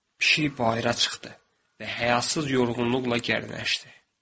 Pişik bayıra çıxdı və həyatsız yorğunluqla gərnəşdi.